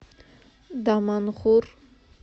даманхур